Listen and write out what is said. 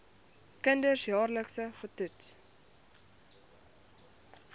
kinders jaarliks getoets